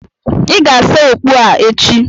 Ị ga-asa okpu a echi.